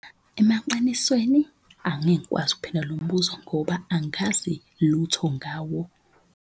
Emaqinisweni angengikwazi ukuphendula lo mbuzo ngoba angazi lutho ngawo.